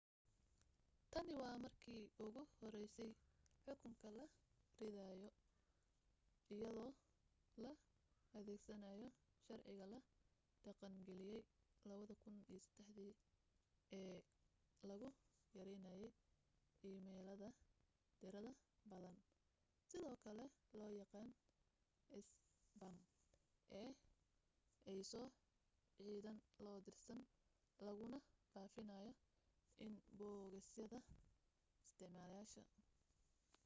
tani waa markii ugu horeysay xukun la rido iyadoo la adeegsanayo sharciga la dhaqangeliyay 2003 ee lagu yareynayay iimaylada tirada badan sidoo kale loo yaqaan isbaam ee ay soo cidaan loo dirsan laguna faafinayo inbogosyada isticmaalayaasha